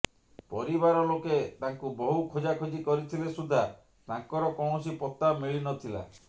ପରିବାର ଲୋକେ ତାଙ୍କୁ ବହୁ ଖୋଜାଖୋଜି କରିଥିଲେ ସୁଦ୍ଧା ତାଙ୍କର କୌଣସି ପତ୍ତା ମିଳିନଥିଲା